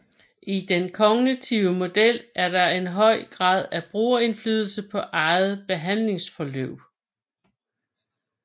I den kognitive model er der en høj grad af brugerindflydelse på eget behandlingsforløb